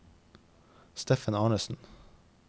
Steffen Arnesen